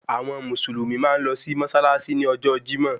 Àwọn mùsùlùmí máa ń lọ sí mọ́ṣáláṣí ní ọjọ́ Jímọ̀